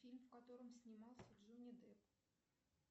фильм в котором снимался джонни депп